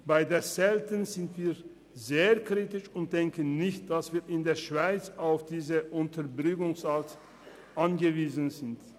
In Bezug auf die Zelte sind wir sehr kritisch und denken nicht, dass wir in der Schweiz auf diese Unterbringungsart angewiesen sind.